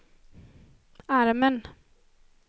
armen